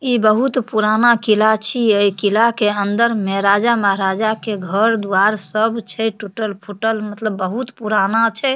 ई बहुत पुराना किला छी। अ ई किला के अंदर में राजा महाराजा के घर दुआर सब छे टूटल-फुटल मतलब बहुत पुराना छे।